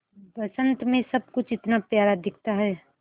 बसंत मे सब कुछ इतना प्यारा दिखता है